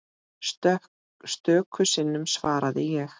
Stöku sinnum svaraði ég.